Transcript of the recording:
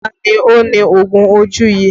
Ta ni ó ní oògùn ojú yìí?